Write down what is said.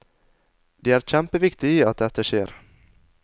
Det er kjempeviktig at dette skjer.